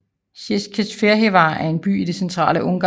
Székesfehérvár er en by i det centrale Ungarn